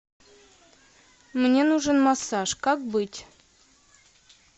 мне нужен массаж как быть